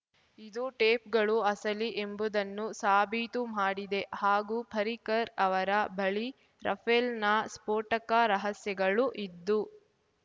ಇದು ಟೇಪ್‌ಗಳು ಅಸಲಿ ಎಂಬುದನ್ನು ಸಾಬೀತು ಮಾಡಿದೆ ಹಾಗೂ ಪರಿಕರ್ ಅವರ ಬಳಿ ರಫೇಲ್‌ನ ಸ್ಫೋಟಕ ರಹಸ್ಯಗಳು ಇದ್ದು